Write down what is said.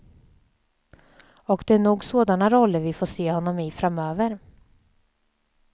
Och det är nog sådana roller vi får se honom i framöver.